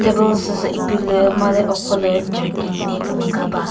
table süsü ipilü made ukholü jarkin ne kümüga ba.